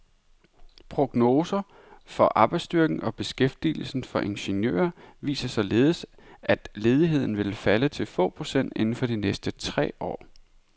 Prognoser for arbejdsstyrken og beskæftigelsen for ingeniører viser således, at ledigheden vil falde til få procent inden for de næste tre år.